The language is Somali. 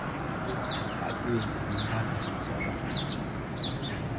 liiska dhacdooyinka Mombasa soo socda